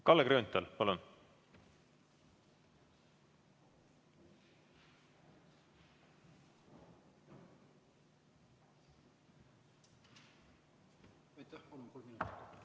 Kalle Grünthal, palun!